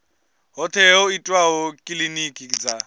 hoṱhe ho itwaho kilinikini dza